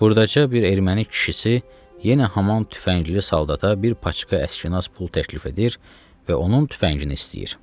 Buradakı bir erməni kişisi yenə haman tüfəngli saldata bir paçka əskinas pul təklif edir və onun tüfəngini istəyir.